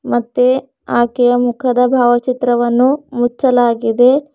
ಮತ್ತೆ ಆಕೆಯ ಮುಖದ ಭಾವಚಿತ್ರವನ್ನು ಮುಚ್ಚಲಾಗಿದೆ.